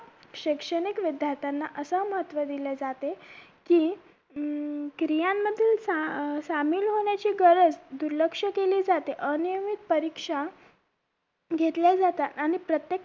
शैक्षणिक विध्यार्थ्यांना असं महत्व दिले जाते कि अं क्रियांमधील सा सामील होण्याची गरज दुर्लक्ष केली जाते अनियमित परीक्षा घेतल्या जाता आणि प्रत्येक